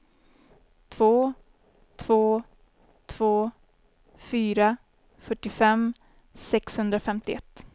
två två två fyra fyrtiofem sexhundrafemtioett